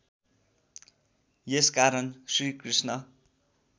यस कारण श्रीकृष्ण